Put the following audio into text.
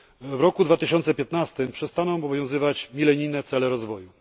W roku 2015 przestaną obowiązywać milenijne cele rozwoju.